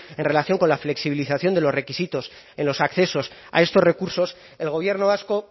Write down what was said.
en relación con la flexibilización de los requisitos en los accesos a estos recursos el gobierno vasco